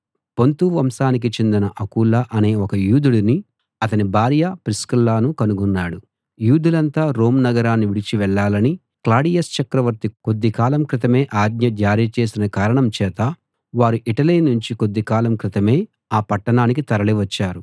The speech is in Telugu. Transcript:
పొంతు వంశానికి చెందిన అకుల అనే ఒక యూదుడినీ అతని భార్య ప్రిస్కిల్లనూ కనుగొన్నాడు యూదులంతా రోమ్ నగరాన్ని విడిచి వెళ్ళాలని క్లాడియస్ చక్రవర్తి కొద్ది కాలం క్రితమే ఆజ్ఞ జారీ చేసిన కారణం చేత వారు ఇటలీ నుంచి కొద్ది కాలం క్రితమే ఈ పట్టణానికి తరలి వచ్చారు